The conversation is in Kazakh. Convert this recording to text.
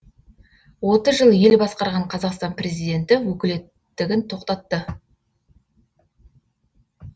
отыз жыл ел басқарған қазақстан президенті өкілеттігін тоқтатты